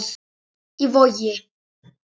Í Vogi.